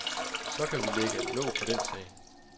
Så kan vi lægge låg på den sag.